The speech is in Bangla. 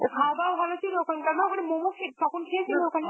ও খাওয়া দাওয়া ভালো ছিল ওখানকার না? ওখানে মোমো খে~ তখন খেয়েছিল ওখানে?